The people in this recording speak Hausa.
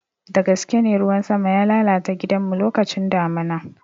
Dagaskene, ruwan sama ya lalata gidanmu lokacin damuna.